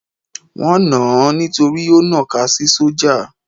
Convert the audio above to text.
Wọ́n nàn án nítorí ó nọ̀ka sí sójà.